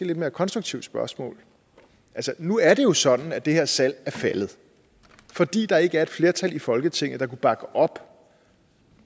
lidt mere konstruktivt spørgsmål nu er det jo sådan at det her salg er faldet fordi der ikke var flertal i folketinget der kunne bakke op